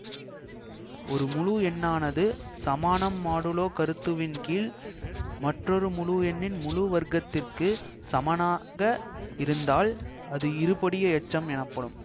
ஓர் முழுஎண்ணானது சமானம் மாடுலோ கருத்துவின்கீழ் மற்றொரு முழுஎண்ணினின் முழுவர்க்கத்திற்குச் சமானமாக இருந்தால் அது இருபடிய எச்சம் எனப்படும்